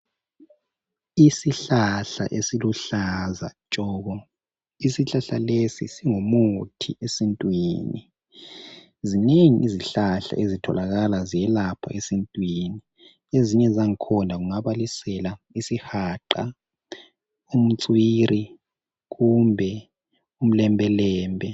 Isihlahla esiluhlaza tshoko, isihlahla lesi singumuthi esintwini. Zinengi izihlahla ezithokala ziyelapha esintwini ezinye zakhona ngingabalisela isihaqa, umtswiri kumbe umlembelembe.